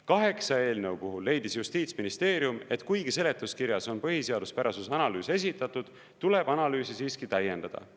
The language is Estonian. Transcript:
Kaheksa eelnõu puhul leidis justiitsministeerium, et kuigi seletuskirjas on põhiseaduspärasuse analüüs esitatud, tuleb analüüsi siiski täiendada.